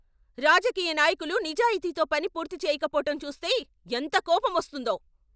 రాజకీయ నాయకులు నిజాయితీతో పని పూర్తి చేయకపోవటం చూస్తే ఎంత కోపమొస్తుందో.